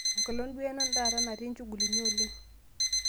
enkolong duo taata natii nchugulini oleng